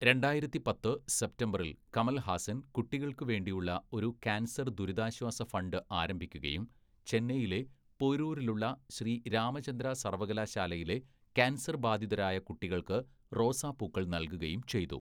രണ്ടായിരത്തി പത്ത്‌ സെപ്റ്റംബറിൽ കമൽഹാസൻ കുട്ടികൾക്കുവേണ്ടിയുള്ള ഒരു കാൻസർ ദുരിതാശ്വാസ ഫണ്ട് ആരംഭിക്കുകയും ചെന്നൈയിലെ പോരൂരിലുള്ള ശ്രീ രാമചന്ദ്ര സർവകലാശാലയിലെ കാൻസർബാധിതരായ കുട്ടികൾക്ക് റോസാപ്പൂക്കൾ നൽകുകയും ചെയ്തു.